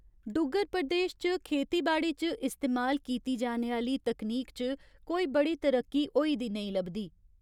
डुग्गर प्रदेश च खेतीबाड़ी च इस्तेमाल कीती जाने आह्ली तकनीक च कोई बड़ी तरक्की होई दी नेईं लभदी।